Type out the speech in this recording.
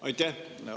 Aitäh!